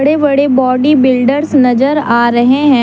बड़े body builders नजर आ रहे हैं।